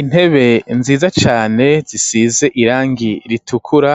Intebe nziza cane zisize irangi ritukura